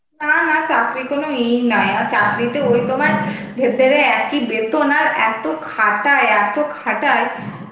না না চাকরির কোনো ইয়েই নাই. আর চাকরিতে ওই তোমার ভেতরে একই বেতন আর এতো খাটায়, এতো খাটায়